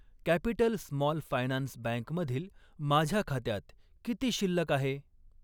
Capital Small Finance Bank मधील माझ्या खात्यात किती शिल्लक आहे?